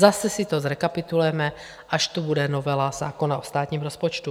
Zase si to zrekapitulujeme, až tu bude novela zákona o státním rozpočtu.